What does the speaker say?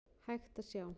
hægt að sjá.